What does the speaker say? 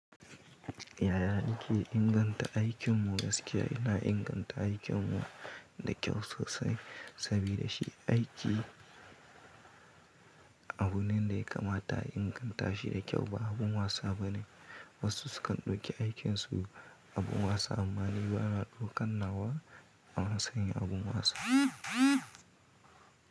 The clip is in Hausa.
Yaya ake inganta aikinmu? Gaskiya ina inganta aikinmu da kyau sosai sabida shi aiki abu ne da ya kamata a inganta shi da kyau ba abin wasa ba ne. Wasu sukan ɗauki aikin su abin wasa amma ni ba na ɗaukan nawa a matsa yin abin wasa.